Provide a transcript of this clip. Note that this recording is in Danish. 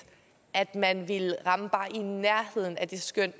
at man ville ramme bare i nærheden af det skøn